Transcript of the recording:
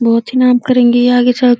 बहोत ही नाम करेंगे ये आगे चल --